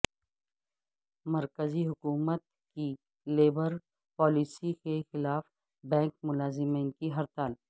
مرکزی حکومت کی لیبر پالیسی کیخلاف بینک ملاز مین کی ہڑتال